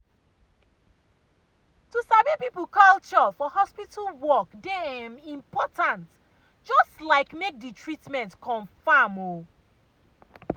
em to sabi people culture for hospital work dey um important just like make the the treatment confam. um